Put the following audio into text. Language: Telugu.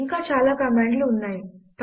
ఇంకా చాలా కమాండ్ లు ఉన్నాయి